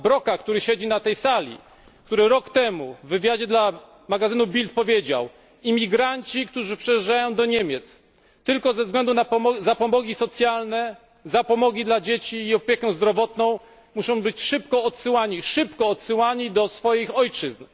Broka, który siedzi na tej sali i który rok temu w wywiadzie dla magazynu Bild powiedział Imigranci, którzy przyjeżdżają do Niemiec tylko ze względu na zapomogi socjalne, zapomogi dla dzieci i opiekę zdrowotną, muszą być szybko odsyłani do swoich ojczyzn.